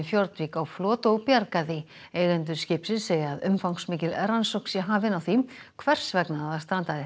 á flot og bjarga því eigendur skipsins segja að umfangsmikil rannsókn sé hafin á því hvers vegna það strandaði